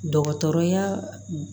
Dɔgɔtɔrɔya